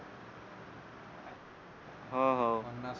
हो हो होनार